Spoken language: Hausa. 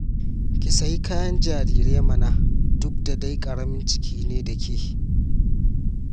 Ki sayi kayan jariran mana, duk da dai ƙaramin ciki ne da ke